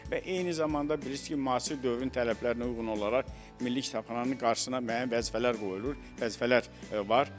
Və eyni zamanda bilirsiz ki, müasir dövrün tələblərinə uyğun olaraq Milli Kitabxananın qarşısına müəyyən vəzifələr qoyulur, vəzifələr var.